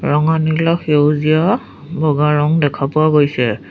ৰঙা নীলা সেউজীয়া বগা ৰং দেখা পোৱা গৈছে।